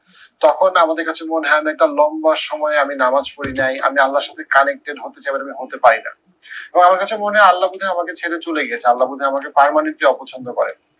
তখন আমাদের কাছে মনে হয়, আমি একটা লম্বা সময় আমি নামাজ পড়ি নাই আমি আল্লাহর সাথে connected হতে চাই but আমি হতে পারি না। এবং আমার কাছে মনে হয় আল্লাহ মনে হয় আমাকে ছেড়ে চলে গেছে আল্লাহ মনে হয় আমাকে permanently অপছন্দ করে।